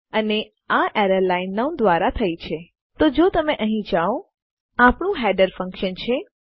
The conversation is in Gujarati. અને આ એરર લાઈન ૯ દ્વારા થઇ છે તો જો તમે અહીં જાઓ આપણું હેડર ફંક્શન છે